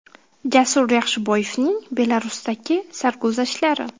Jasur Yaxshiboyevning Belarusdagi sarguzashtlari.